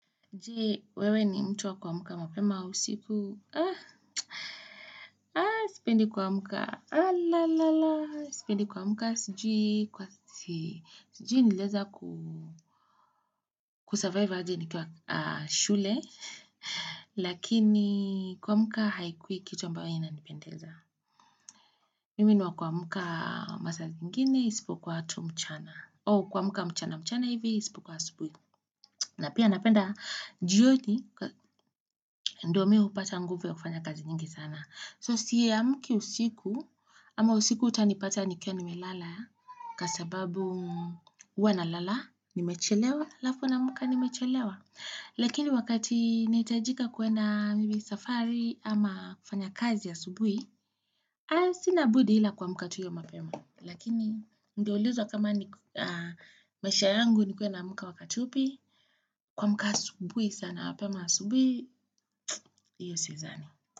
Jee, wewe ni mtu wa kuamuka mapema au usiku, ah, ah, sipendi kuamka, alalala, sipendi kuamka sijui, kwa su sijui, suji nilianza kuu kusurvive aje ni kiwa aah shule, lakini kuamka haikui kitu ambao inanipendeza. Mimi niwa kuamka masaa zingine, isipokua tu mchana. Ooh kuamka mchana mchana hivi, isipukua subuhi. Na pia napenda jioni, ndio mimi hupata nguvu ya kufanya kazi nyingi sana. So siye amuki usiku, ama usiku utanipata nikiwa nimelala, kwasababu huwa na lala, nimechelewa, alafu naamka nimechelewa. Lakini wakati nitahijika kwenda mimi safari ama kufanya kazi asubuhi, aah Sina budi ila kamka tu iyo mapema Lakini ningeulizwa kama maisha yangu nikuwe naamka wakati upi kuamka asubuhi sana mapema asubuhi Iyo si zani.